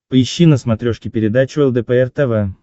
поищи на смотрешке передачу лдпр тв